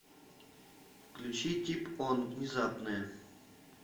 включи тип он внезапная